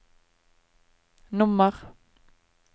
nummer